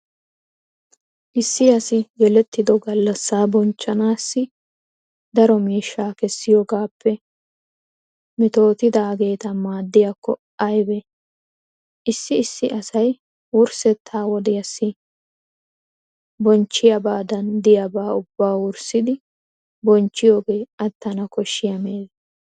Issi asi yelettido gallassaa bonchchanaassi daro miishshaa kessiyogaappe metootidaageeta maaddiyakko aybee! Issi issi asay wurssetta wodiyasssi bonchchiyabadan diyabaa ubbaa wurssidi bonchchiyogee attana koshshiya meeze.